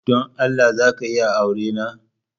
Don Allah za ka iya aurena?